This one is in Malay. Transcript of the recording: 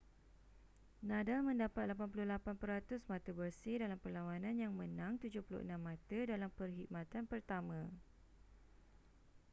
nadal mendapat 88% mata bersih dalam perlawanan yang menang 76 mata dalam perkhidmatan pertama